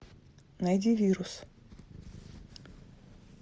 найди вирус